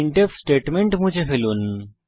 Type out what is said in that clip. printf statement মুছে ফেলুন